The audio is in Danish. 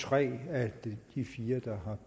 tre af de fire der har